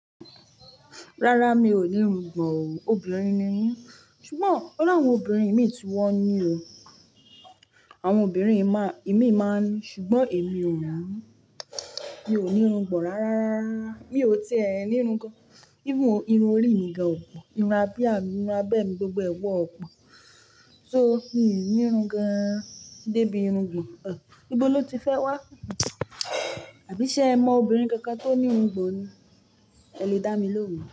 Rárá mi ò ní irungbọ̀n o, obìnrin ni mí, ṣùgbọ́n ọ̀ la àwọn obìnrin ìmí ti wọn ní o. Àwọn obìnrin ìmí máa ń ní, ṣùgbọ́n èmi ò ní, mi ò ní irungbọ̀n rárárárá mi ò tẹ́ ẹ ní irun gan, even irun orí mi gẹ́gẹ̀ ò pọ̀, irun abìá mi, irun abẹ́ mi gbogbo ẹ wọ́n pọ̀. Só ni mi ò ní irun gan, débi irungbọ̀n, ò. Ibó lo ti fẹ́ wá? Àbí ṣe ẹ mọ obìnrin kankan tó ní irungbọ̀n ni? Ẹ lè dá mi lóhùn.